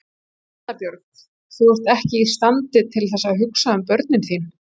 Erla Björg: Ert þú ekki í standi til þess að hugsa um börnin þín?